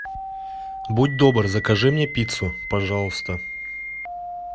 будь добр закажи мне пиццу пожалуйста